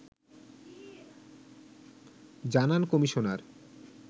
জানান কমিশনার